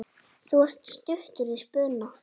Þú ert stuttur í spuna.